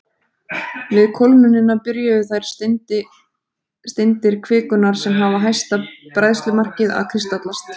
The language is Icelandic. Við kólnunina byrjuðu þær steindir kvikunnar sem hafa hæsta bræðslumarkið að kristallast.